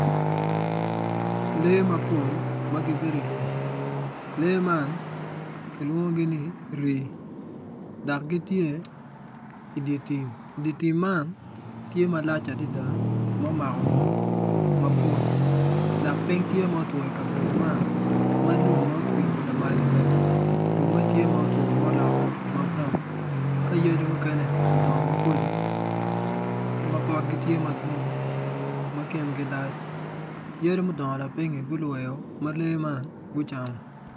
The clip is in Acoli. Lee mapol ma gibedo i lum lee man kilwongogi ni rii dok gitye idi tim idi tim tye malac adada ma omako ngom mapol dok piny tye ma otwo i kabedo man ma lum ma otwi lamali bene lumme tye ma otwo ma olokkeo ma braun ka yadi mukene odongo maboco ma potgi tye madwong ma kingi tye malac yadi mudongo lapinyi gulwero ma lee man gucamo.